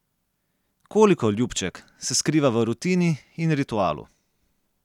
Koliko, ljubček, se skriva v rutini in ritualu.